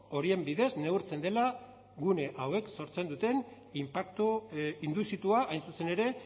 horien bidez neurtzen dela gune hauek sortzen duten inpaktu induzitua hain zuzen ere